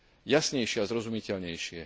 jasnejšie a zrozumiteľnejšie.